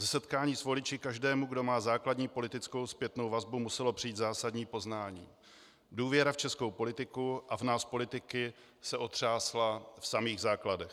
Ze setkání s voliči každému, kdo má základní politickou zpětnou vazbu, muselo přijít zásadní poznání: důvěra v českou politiku a v nás politiky se otřásla v samých základech.